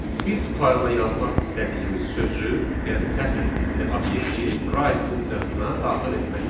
Biz fayla yazmaq istədiyimiz sözü, yəni sətr tipli obyekti write funksiyasına daxil etməliyik.